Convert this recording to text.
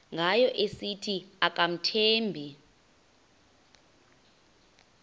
ngayo esithi akamthembi